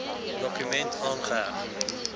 dokument aangeheg